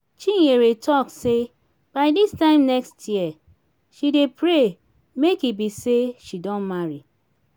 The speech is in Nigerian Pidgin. chinyere talk say by dis time next year she dey pray make e be say she don marry